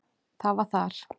Það var þar.